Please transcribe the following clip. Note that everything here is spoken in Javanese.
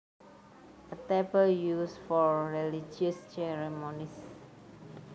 A table used for religious ceremonies